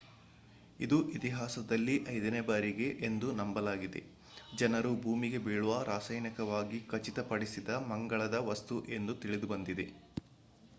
ಇದು ಇತಿಹಾಸದಲ್ಲಿ ಐದನೇ ಬಾರಿಗೆ ಎಂದು ನಂಬಲಾಗಿದೆ ಜನರು ಭೂಮಿಗೆ ಬೀಳುವ ರಾಸಾಯನಿಕವಾಗಿ ಖಚಿತಪಡಿಸಿದ ಮಂಗಳದ ವಸ್ತು ಎಂದು ತಿಳಿದುಬಂದಿದೆ